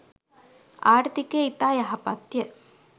ආර්ථිකය ඉතා යහපත්ය.